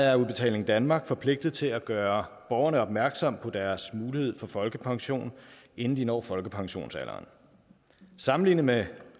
er udbetaling danmark forpligtet til at gøre borgerne opmærksom på deres mulighed for folkepension inden de når folkepensionsalderen sammenlignet med